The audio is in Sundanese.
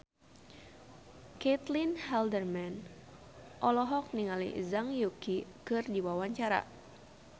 Caitlin Halderman olohok ningali Zhang Yuqi keur diwawancara